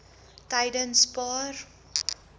tydenspaar